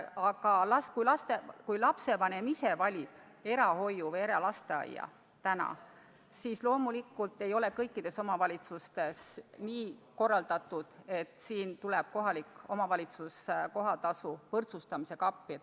Aga kui lapsevanem ise valib erahoiu või eralasteaia, siis loomulikult ei ole kõikides omavalitsustes nii korraldatud, et omavalitsus tuleb kohatasu võrdsustamisega appi.